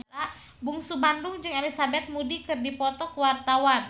Bungsu Bandung jeung Elizabeth Moody keur dipoto ku wartawan